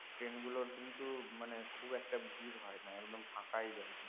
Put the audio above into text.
train গুলোর কিন্তু মানে খুব একটা ভীড় হয় না একদম ফাঁকাই যায়